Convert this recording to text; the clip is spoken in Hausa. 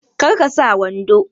Kar ka sa wando!